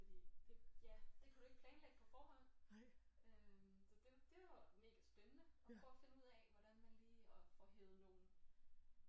Fordi det ja det kunne du ikke planlægge på forhånd øh så det det var mega spændende at prøve at finde ud af hvordan man lige og får hevet nogle